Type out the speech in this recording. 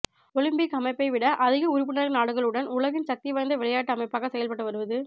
Olympic அமைப்பைட விட அதிக உறுப்பினர் நாடுகளுடன் உலகின் சக்தி வாய்ந்த விளையாட்டு அமைப்பாக செயல்பட்டு வருவது